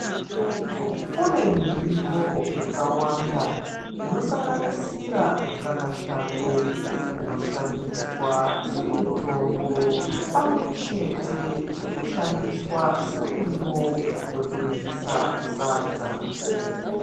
Kune mirivo yakawanda, inosanganisira mukakashango. Inoshandiswa semitombo pamwechete nekushandiswa semurivo wekuryisa sadza.